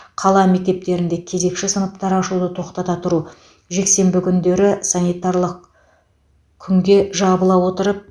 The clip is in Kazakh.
қала мектептерінде кезекші сыныптар ашуды тоқтата тұру жексенбі күндері санитарлық күнге жабыла отырып